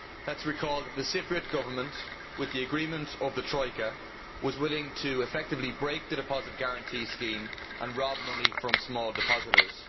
Let us recall that the Cypriot Government, with the agreement of the Troika, was willing to effectively break the Deposit Guarantee Scheme and rob money from small depositors.